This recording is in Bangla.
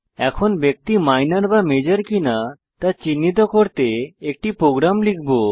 এখন ব্যক্তি মাইনর বা মেজর কিনা তা চিহ্নিত করতে একটি প্রোগ্রাম লিখব